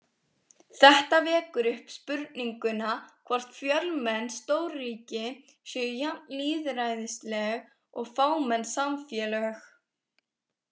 Þetta vekur upp spurninguna, hvort fjölmenn stórríki séu jafn lýðræðisleg og fámenn samfélög.